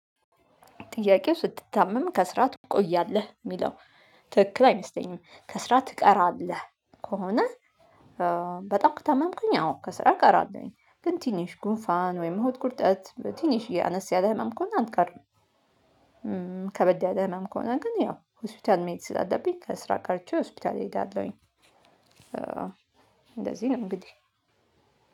ጥያቄው ስትታመም ከስራ ትቆያለህ የሚለው ትክክል አይመስለኝም ከስራ ትቀራለህ? ከሆነ በጣም ከታመምኩኝ አዎ ከስራ ቀራለውኝ ግን ትንሽ ጉንፋን ወይም ሆድቁርጠት ትንሽዬ አነስ ያለ ህመም ከሆነ አልቀርም። ከበድ ያለ ህመም ከሆነ ግን ያው ሆስፒታል መሄድ ስላለብኝ ከስራ ቀርቼ ሆስፒታል እሄዳለሁኝ። እንደዚህ ነው እንግዲህ